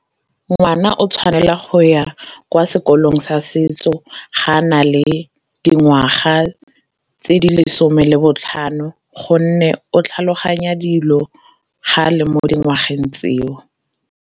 Ngwana o tshwanela go ya kwa sekolong sa setso ga a na le dingwaga tse di lesome le botlhano, gonne o tlhaloganya dilo ga a le mo dingwageng tseo.